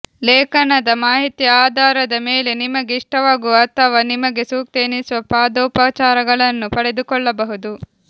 ಲೇಖನದ ಮಾಹಿತಿಯ ಆಧಾರದ ಮೇಲೆ ನಿಮಗೆ ಇಷ್ಟವಾಗುವ ಅಥವಾ ನಿಮಗೆ ಸೂಕ್ತ ಎನಿಸುವ ಪಾದೋಪಚಾರಗಳನ್ನು ಪಡೆದುಕೊಳ್ಳಬಹುದು